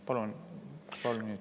Palun kolm minutit.